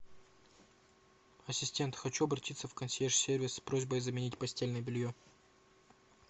ассистент хочу обратиться в консьерж сервис с просьбой заменить постельное белье